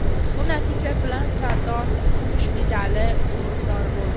Bu natija bilan Sardor kumush medali sovrindori bo‘ldi.